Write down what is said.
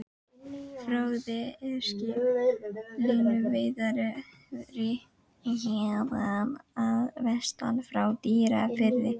Fróði er skip, línuveiðari héðan að vestan, frá Dýrafirði.